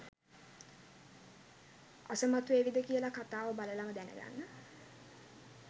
අසමත් වේවිද කියලා කතාව බලලම දැනගන්න.